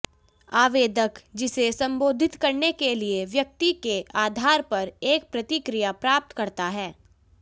आवेदक जिसे संबोधित करने के लिए व्यक्ति के आधार पर एक प्रतिक्रिया प्राप्त करता है